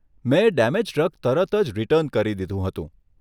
મે damaged drug તરત જ return કરી દીધું હતું.